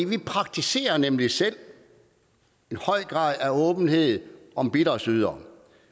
vi praktiserer nemlig selv en høj grad af åbenhed om bidragsydere